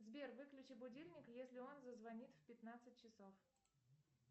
сбер выключи будильник если он зазвонит в пятнадцать часов